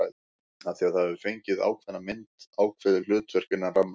Af því það hefur fengið ákveðna mynd, ákveðið hlutverk, innan rammans.